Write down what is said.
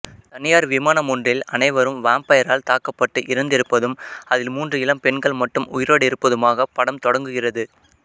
தனியார் விமானமொன்றில் அனைவரும் வாம்பைரால் தாக்கப்பட்டு இறந்திருப்பதும் அதில் மூன்று இளம் பெண்கள் மட்டும் உயிரோடிருப்பதுமாகப் படம் தொடங்குகிறது